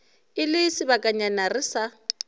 e le sebakanyana re sa